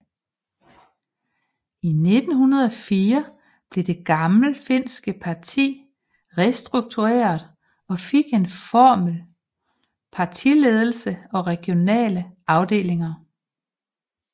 I 1904 blev det gammelfinske parti restruktureret og fik en formel partiledelse og regionale afdelinger